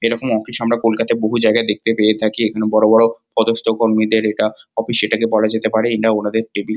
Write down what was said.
এরকম অফিস আমরা কলকাতার বহু জায়গায় দেখতে পেয়ে থাকি। এখানে বড় বড় পদস্থকর্মীদের এটা অফিস। এটাকে বলা যেতে পারে এটা ওনাদের টেবিল --